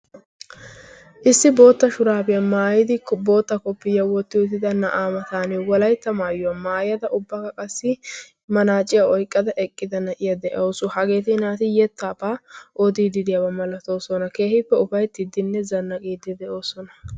issi bootta shuraafiyaa maayidi bootta koppiyya wotti utida na'aa matan walaytta maayuwaa maayada ubbaga qassi manaaciya oyqqada eqqida na'iya de'awusu. hageeti naati yettaabaa oodii diidiyaabaa malatoosona. keehiippe ufayttiiddinne zanna qiiddi de'oosona.